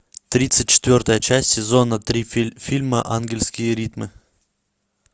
тридцать четвертая часть сезона три фильма ангельские ритмы